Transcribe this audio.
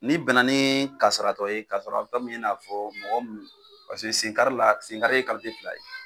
Ni bɛn na ni kasaratɔ ye kasaratɔ min n'a fɔ mɔgɔ mun, paseke sen kari la sen kari ye fila ye.